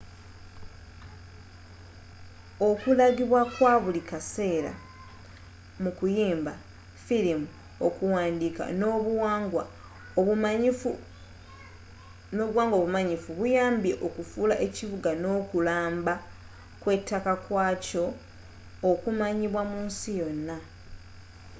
okulagibwa kwa buli kaseera mu kuyimba firimu okuwandiika n'obuwangwa obumanyifu buyambye okufuula ekibuga n'okulamba kw'ettaka kwaakyo okumanyibwa munsi yonna